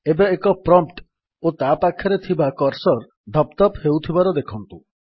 ଏବେ ଏକ ପ୍ରମ୍ପ୍ଟ ଓ ତା ପାଖରେ ଥିବା କର୍ସର୍ ଧପ୍ ଧପ୍ ହେଉଥିବାର ଦେଖନ୍ତୁ